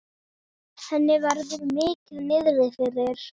Henni verður mikið niðri fyrir.